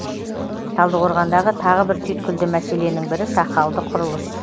талдықорғандағы тағы бір түйткілді мәселенің бірі сақалды құрылыс